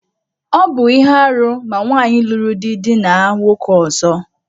Ọ bu ihe árú ma nwaanyị luru di dina nwoke ọzọ.